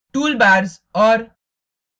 toolbars और